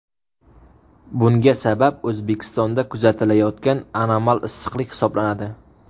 Bunga sabab O‘zbekistonda kuzatilayotgan anomal issiqlik hisoblanadi.